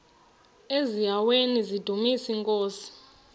eziaweni nizidumis iinkosi